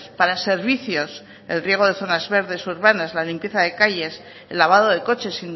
para servicios el riegos de zonas verdes urbanas la limpieza de calles el lavado de coches